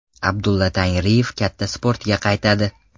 Abdulla Tangriyev katta sportga qaytadi.